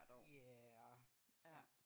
Ja ja